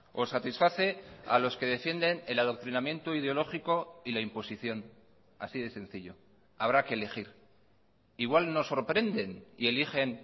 o satisface a los que defienden el adoctrinamiento ideológico y la imposición así de sencillo habrá que elegir igual nos sorprenden y eligen